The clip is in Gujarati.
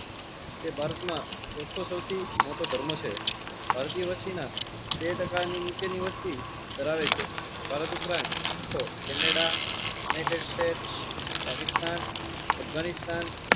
તે ભારત માં ચોથો સૌથી મોટો ધર્મ છે. ભારતીય વસ્તીના બે ટાકા ની નીચે ની વસ્તી ધરાવે છે. ભારત ઉપરાંત શીખો કેનેડા નેધર સ્ટેટ્સ પાકિસ્તાન અફગાનિસ્તાન